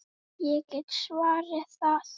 Ég get svarið það!